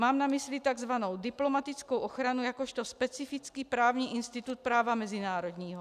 Mám na mysli tzv. diplomatickou ochranu jakožto specifický právní institut práva mezinárodního.